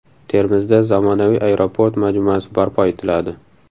Termizda zamonaviy aeroport majmuasi barpo etiladi.